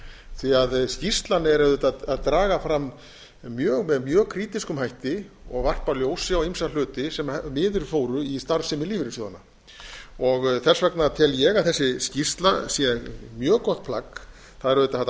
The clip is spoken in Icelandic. því að skýrslan er auðvitað að draga fram með mjög krítískum hætti og varpa ljósi á ýmsa hluti sem miður fóru í starfsemi lífeyrissjóðanna þess vegna tel ég að þessi skýrsla sé mjög gott plagg það er auðvitað hægt að